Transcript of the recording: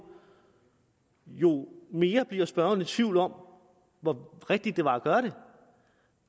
jo mere bliver spørgeren i tvivl om hvor rigtigt det var at gøre det